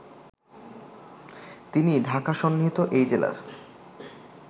তিনি ঢাকাসন্নিহিত এই জেলার